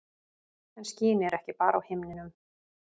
En skýin eru ekki bara á himninum.